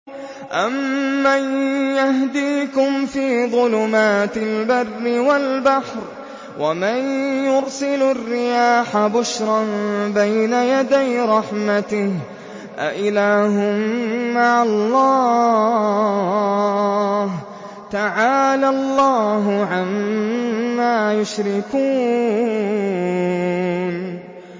أَمَّن يَهْدِيكُمْ فِي ظُلُمَاتِ الْبَرِّ وَالْبَحْرِ وَمَن يُرْسِلُ الرِّيَاحَ بُشْرًا بَيْنَ يَدَيْ رَحْمَتِهِ ۗ أَإِلَٰهٌ مَّعَ اللَّهِ ۚ تَعَالَى اللَّهُ عَمَّا يُشْرِكُونَ